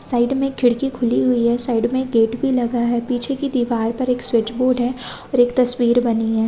Side में एक खिड़की खुली हुई है साइड में एक गेट भी लगा है पीछे की दिवार में एक स्विच बोर्ड है और एक तस्वीर बनी है।